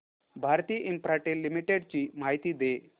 Bharti Infratel Limited ची माहिती दे